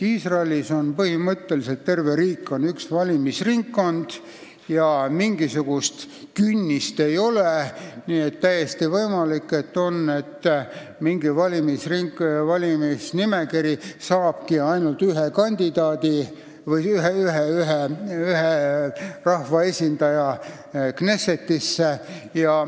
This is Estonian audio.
Iisraelis on põhimõtteliselt terve riik üks valimisringkond ja mingisugust künnist ei ole, nii et on täiesti võimalik, et mingi nimekiri saabki ainult ühe rahvaesindaja Knessetisse.